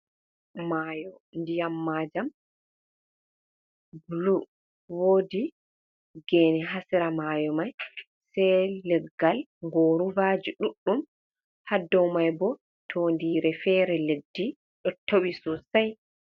Mayo ndiyam majam blu, wodi gene ha sera mayo mai, sai leggal gorubaji ɗuɗɗum, ha dou mai bo tondire fere leddi ɗo towi sosai.